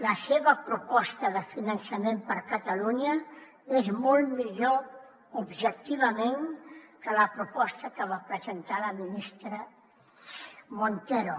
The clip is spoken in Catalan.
la seva proposta de finançament per catalunya és molt millor objectivament que la proposta que va presentar la ministra montero